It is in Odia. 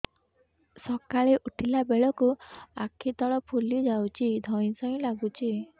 ସକାଳେ ଉଠିଲା ବେଳକୁ ଆଖି ତଳ ଫୁଲି ଯାଉଛି ଧଇଁ ସଇଁ ଲାଗୁଚି